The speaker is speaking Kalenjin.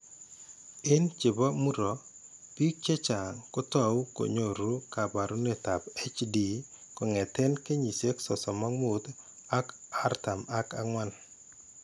Eng' che po muro, biik chechang' ko tau ko nyoru kaabarunetap HD kong'eten kenyisiek 35 ak 44.